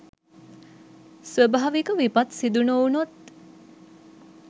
ස්වභාවික විපත් සිදු නොවුණොත්